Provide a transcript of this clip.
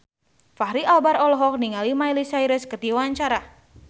Fachri Albar olohok ningali Miley Cyrus keur diwawancara